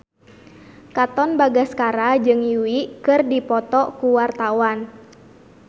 Katon Bagaskara jeung Yui keur dipoto ku wartawan